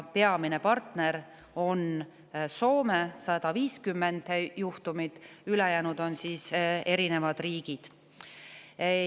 Peamine partner on Soome – 150 juhtumit – ja peale selle on veel riike.